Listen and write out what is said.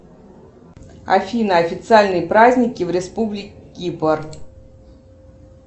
афина официальные праздники в республике кипр